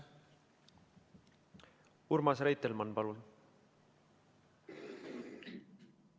Urmas Reitelmann, palun!